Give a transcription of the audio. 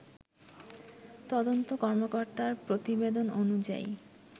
তদন্ত কর্মকর্তার প্রতিবেদন অনুযায়ী